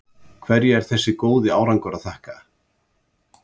Hverju er þessi góði árangur að þakka?